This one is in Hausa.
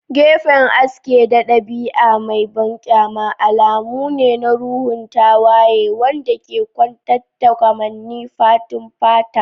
Gefen aske da ɗabi'a mai banƙyama alamu ne na ruhun tawaye wanda ke kwatanta kamannin fatun fata.